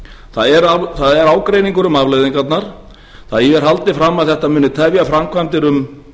það er ágreiningur um afleiðingarnar því er haldið fram að þetta muni tefja framkvæmdir um